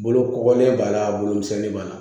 Bolokoli b'a la bolomisɛnnin b'a la